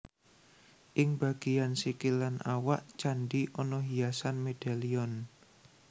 Ing bagéyan sikil lan awak candhi ana hiasan medalion